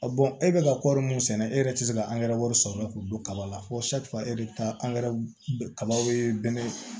e bɛ ka kɔɔri mun sɛnɛ e yɛrɛ tɛ se ka angɛrɛ wari sɔrɔ k'u don kaba la fo kabaw bɛ bɛn